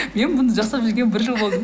мен бұны жасап жүргеніме бір жыл болды